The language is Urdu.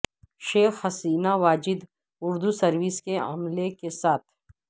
شیخ حسینہ واجد اردو سروس کے عملے کے ساتھ